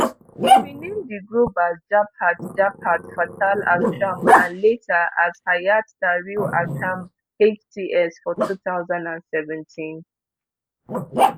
e rename di group as jabhat jabhat fatah alsham and later as hayat tahrir alsham hts for two thousand and seventeen